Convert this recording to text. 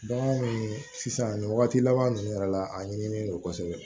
Bagan min sisan nin wagati laban ninnu yɛrɛ la a ɲinilen no kosɛbɛ